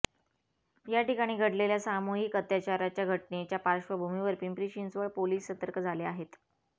या ठिकाणी घडलेल्या सामूहिक अत्याचाराच्या घटनेच्या पार्श्वभूमीवर पिंपरी चिंचवड पोलीस सतर्क झाले आहेत